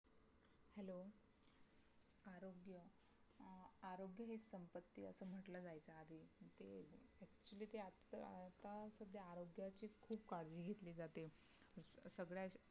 खुप कळजी घेतली जाते, सगळं